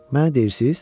Mənə deyirsiz?